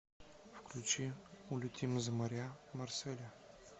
включи улетим за моря марселя